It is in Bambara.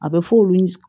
A bɛ f'olu